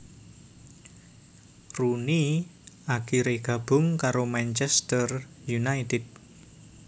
Rooney akhirè gabung karo Manchester united